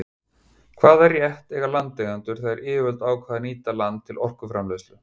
Hvaða rétt eiga landeigendur þegar yfirvöld ákveða að nýta land til orkuframleiðslu?